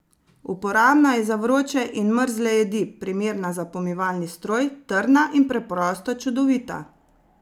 Uporabna je za vroče in mrzle jedi, primerna za pomivalni stroj, trdna in preprosto čudovita!